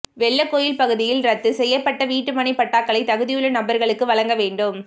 வெள்ளகோவில் பகுதியில் ரத்து செய்யப்பட்ட வீட்டுமனைப் பட்டாக்களை தகுதியுள்ள நபா்களுக்கு வழங்க வேண்டும்